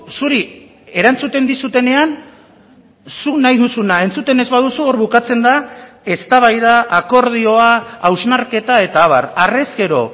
zuri erantzuten dizutenean zuk nahi duzuna entzuten ez baduzu hor bukatzen da eztabaida akordioa hausnarketa eta abar harrezkero